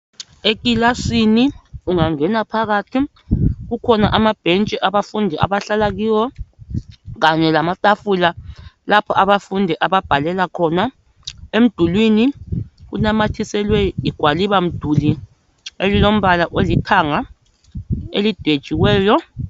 ekilasini ungangena phakathi kukhona amabhetshi abafundi abahlala kiwo kanye lamatafula lapho abafundi ababhalela khona emdulini kunamathiselwe igwalibamduli elilombala olithanga elidwetshiweyo